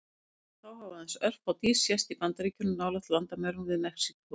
Síðan þá hafa aðeins örfá dýr sést í Bandaríkjunum, nálægt landamærunum við Mexíkó.